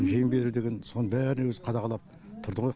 жем беру деген соның бәрін өзі қадағалап тұрды ғой